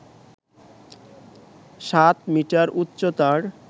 সাত মিটার উচ্চতার